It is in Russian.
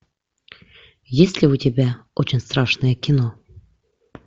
есть ли у тебя очень страшное кино